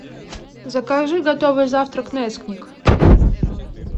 закажи готовый завтрак несквик